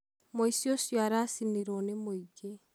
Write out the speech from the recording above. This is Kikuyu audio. muici ũcio aracinĩrwo nĩ mũingĩ